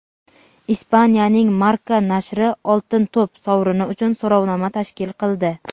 Ispaniyaning "Marca" nashri "Oltin to‘p" sovrini uchun so‘rovnoma tashkil qildi.